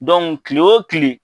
kile o kile